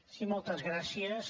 sí moltes gràcies